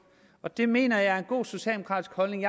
og det mener jeg er en god socialdemokratisk holdning